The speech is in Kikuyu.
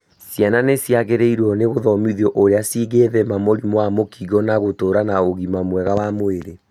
Ciana nĩ ciagĩrĩirũo nĩ gũthomitho ũrĩa cingĩthema mũrimũ wa mũkingo na gũtũra na ũgima mwega wa mwĩrĩ.